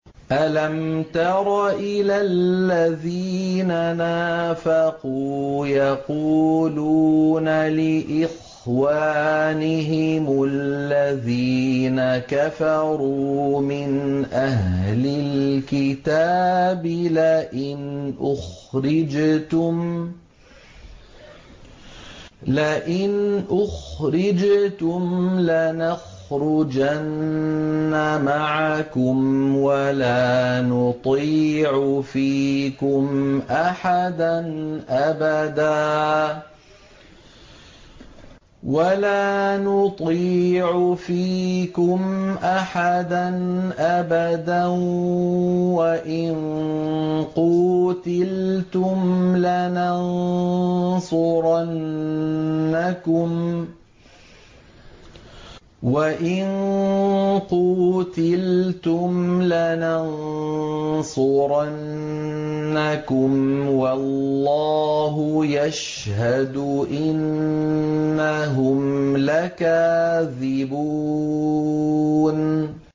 ۞ أَلَمْ تَرَ إِلَى الَّذِينَ نَافَقُوا يَقُولُونَ لِإِخْوَانِهِمُ الَّذِينَ كَفَرُوا مِنْ أَهْلِ الْكِتَابِ لَئِنْ أُخْرِجْتُمْ لَنَخْرُجَنَّ مَعَكُمْ وَلَا نُطِيعُ فِيكُمْ أَحَدًا أَبَدًا وَإِن قُوتِلْتُمْ لَنَنصُرَنَّكُمْ وَاللَّهُ يَشْهَدُ إِنَّهُمْ لَكَاذِبُونَ